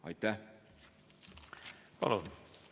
Aitäh!